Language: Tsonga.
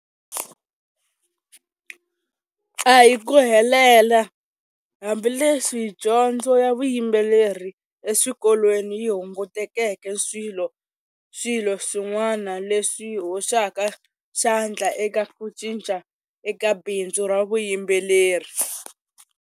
A hi ku helela hambileswi dyondzo ya vuyimbeleri eswikolweni yi hungutekeke swilo swilo swin'wana leswi hoxaka xandla eka ku cinca eka bindzu ra vuyimbeleri.